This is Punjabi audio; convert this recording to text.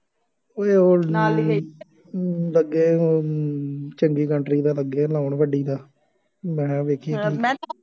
ਉਏ ਉਹ ਲੱਗੇ ਹੁਣ ਚੰਗੀ country ਦਾ ਲੱਗੇ, ਲਾਉਣ ਵੱਡੀ ਦਾ, ਮੈਂ ਕਿਹਾ ਵੇਖੀ